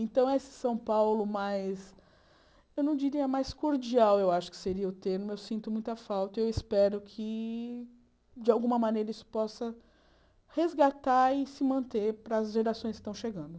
Então, esse São Paulo mais, eu não diria mais cordial, eu acho que seria o termo, eu sinto muita falta e eu espero que, de alguma maneira, isso possa resgatar e se manter para as gerações que estão chegando.